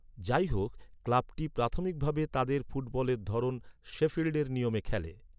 যাইহোক, ক্লাবটি প্রাথমিকভাবে তাদের ফুটবলের ধরন শেফিল্ডের নিয়মে খেলে।